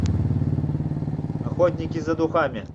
охотники за духами